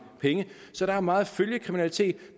penge så der er meget følgekriminalitet i